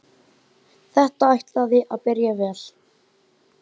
Þetta ætlaði að byrja vel!